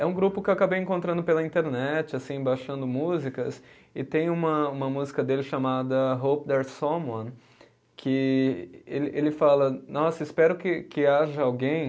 É um grupo que eu acabei encontrando pela internet assim, baixando músicas, e tem uma uma música dele chamada Hope There's Someone, que ele ele fala, nossa, espero que que haja alguém